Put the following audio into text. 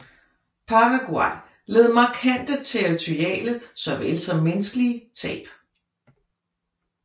Paraguay led markante territoriale såvel som menneskelige tab